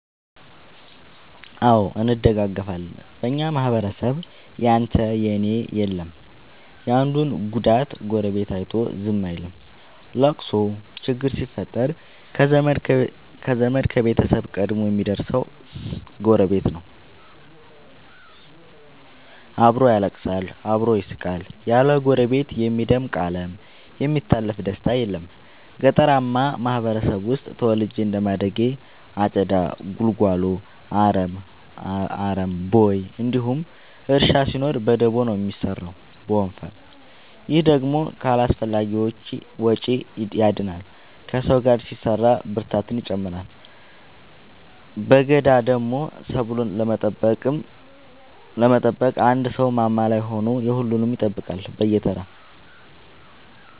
አዎ እንደጋገፋለን በኛ ማህበረሰብ ያንተ እና የኔ የለም የአንዱን ጉዳት ጎረቤቱ አይቶ ዝም አይልም። ለቅሶ ችግር ሲፈጠር ከዘመድ ከቤተሰብ ቀድሞ የሚደር ሰው ጎረቤት ነው። አብሮ ያለቅሳል አብሮ ይስቃል ያለ ጎረቤት የሚደምቅ አለም የሚታለፍ ደስታም የለም። ገጠርአማ ማህበረሰብ ውስጥ ተወልጄ እንደማደጌ አጨዳ ጉልጎሎ አረም ቦይ እንዲሁም እርሻ ሲኖር በደቦ ነው የሚሰራው በወንፈል። ይህ ደግሞ ከአላስፈላጊዎቺ ያድናል ከሰው ጋር ሲሰራ ብርታትን ይጨምራል። በገዳደሞ ሰብሉን ለመጠበቅ አንድ ሰው ማማ ላይ ሆኖ የሁሉም ይጠብቃል በየተራ።